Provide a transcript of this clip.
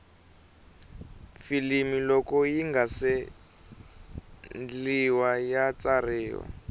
filimi loko yingase ndliwa ya tsariwa